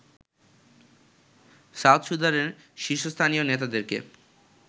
south সুদানের শীর্ষস্থানীয় নেতাদেরকে